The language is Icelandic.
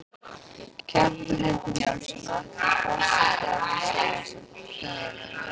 Kjartan Hreinn Njálsson: Ætti forseti að vísa þessu til þjóðarinnar?